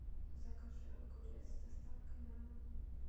закажи огурец с доставкой на дом